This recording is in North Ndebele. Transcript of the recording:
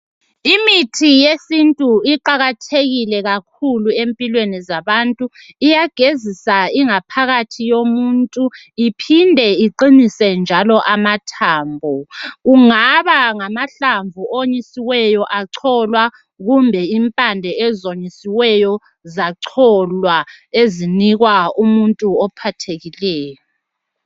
Imithi yesintu iqakathekile kakhulu empilweni zabantu. Iyagezisa ingaphakathi yomuntu iphinde iqinise njalo amathambo. Ungaba ngamahlamvu onyisiwe acolwa kumbe impande eziwonyisiwe zacolwa ezinikwa umuntu ophathekileyo.